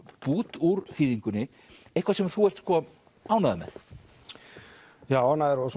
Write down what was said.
bút úr þýðingunni eitthvað sem þú ert sko ánægður með já ánægður og